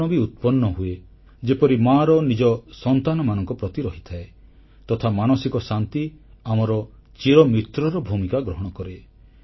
କ୍ଷମାଗୁଣ ବି ଉତ୍ପନ୍ନ ହୁଏ ଯେପରି ମାର ନିଜ ସନ୍ତାନମାନଙ୍କ ପ୍ରତି ରହିଥାଏ ତଥା ମାନସିକ ଶାନ୍ତି ଆମର ଚିରମିତ୍ରର ଭୂମିକା ଗ୍ରହଣ କରେ